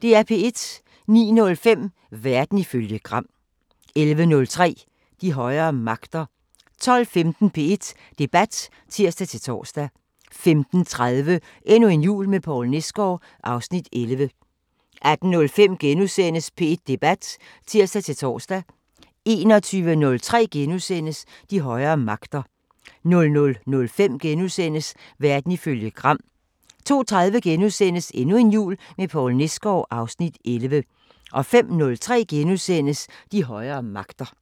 09:05: Verden ifølge Gram 11:03: De højere magter 12:15: P1 Debat (tir-tor) 15:30: Endnu en jul med Poul Nesgaard (Afs. 11) 18:05: P1 Debat *(tir-tor) 21:03: De højere magter * 00:05: Verden ifølge Gram * 02:30: Endnu en jul med Poul Nesgaard (Afs. 11)* 05:03: De højere magter *